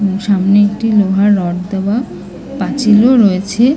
সামনে একটি লোহার রড দেওয়া। পাঁচিল দেওয়া রয়েছে ।